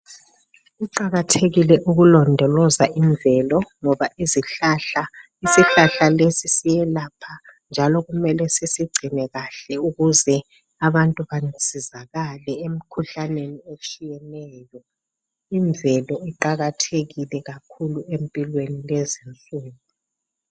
Kuqakathekile ukulodoloza invelo ngoba izihlahla isihlahla lesi siyelapha njalo kumele sisigcine kahle ukuze Abantu basizakale emkhuhlaneni etshiyeneyo invelo iqakathekile kakhulu empilweni lezinsuku